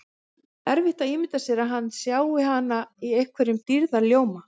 Erfitt að ímynda sér að hann sjái hana í einhverjum dýrðarljóma.